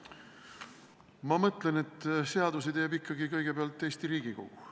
Ma mõtlen, et seadusi teeb ikkagi eelkõige Eesti Riigikogu.